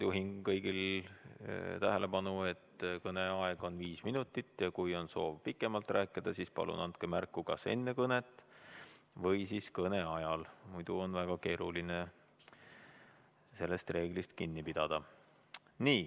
Juhin kõigi tähelepanu sellele, et kõneaeg on viis minutit ja kui on soov pikemalt rääkida, siis palun andke märku kas enne kõnet või kõne ajal, muidu on väga keeruline sellest reeglist kinni pidada.